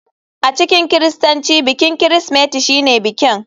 A cikin kiristanci bikin Kirsimeti shine bikin.